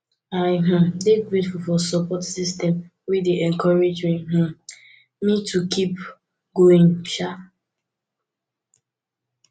i um dey grateful for support systems wey dey encourage um me to keep going um